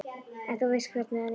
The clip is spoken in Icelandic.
En þú veist hvernig hann er.